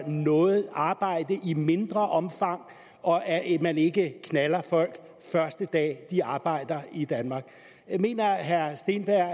noget arbejde i mindre omfang og at man ikke knalder folk første dag de arbejder i danmark mener herre steenberg